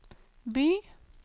by